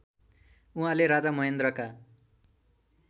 उहाँले राजा महेन्द्रका